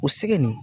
O segi nin